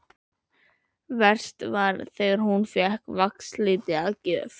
Verst var þegar hún fékk vaxliti að gjöf.